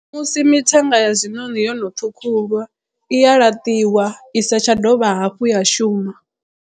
Musi mithenga ya zwiṋoni yono ṱhukhulwa i ya laṱiwa i sa tsha dovha hafhu ya shuma.